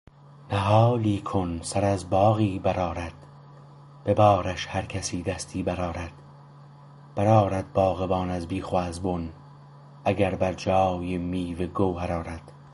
نهالی کو سر از باغی برآرد به بارش هر کسی دستی برآرد برآرد باغبان از بیخ و از بن اگر بر جای میوه گوهر آرد